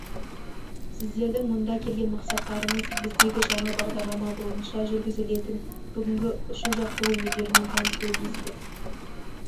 сіздердің мұнда келген мақсаттарыңыз біздегі жаңа бағдалама бойынша жүргізілетін бүгінгі ұшу-жаттығу өнерімен танысу емеспе